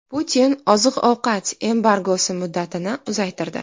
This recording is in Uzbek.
Putin oziq-ovqat embargosi muddatini uzaytirdi.